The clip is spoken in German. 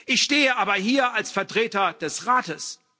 Ich stehe aber hier als Vertreter des Rates.